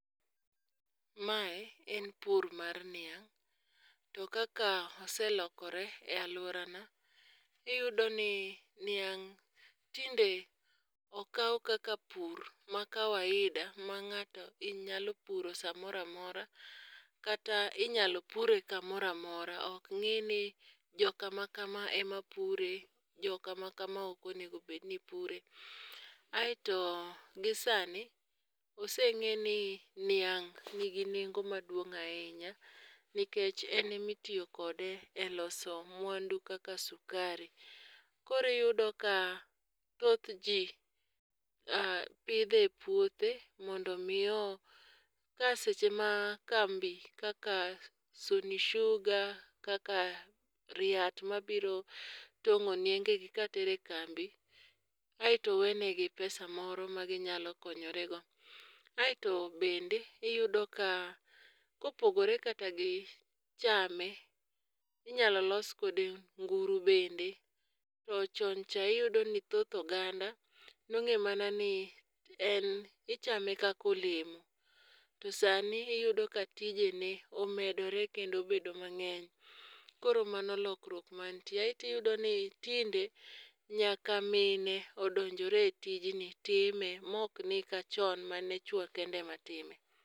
Mae en pur mar niang'. To kaka oselokore e aluora na, iyudo ni niang' tinde okaw kaka pur ma kawaida ma ng'ato nyalo puro samoro amora. Kata inyalo pure kamoro amora. Ok ng'i ni jo kama kama ema pure. Jo kama kama ok onego bed ni pure. Aito gi sani, ose ng'e ni niang' nigi nengo maduong' ahinya nikech ene mitiyokode e loso mwandu kaka sukari. Koro iyudo ka thoth ji pidhe e puothe mondo mi ka seche ma kambi kaka Sony Sugar, kaka RIAT mabiro tong'o nienge gi katere kambi aito wenegi pesa moro ma ginyalo konyore go. Aito bende iyudo ka kopogore kata gi chame, inyalo los kode nguru bende. To chon cha iyudo ni thoth oganda nong'e mana ni en ichame kaka olemo. To sani iyudo ka tijene omedore kendo obedo mang'eny. Koro mano lokruok mantie. Tiyudo ni tinde nyaka mine odonjore e tijni time mok ni kachon mane chuo kende ema time.